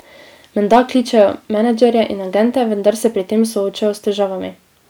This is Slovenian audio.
Menda kličejo menedžerje in agente, vendar se pri tem soočajo s težavami.